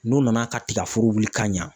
N'u nana ka tika foro wuli ka ɲa.